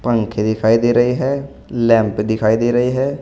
पंखे दिखाई दे रही है लैंप दिखाई दे रही है।